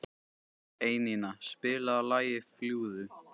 Einína, spilaðu lagið „Fljúgðu“.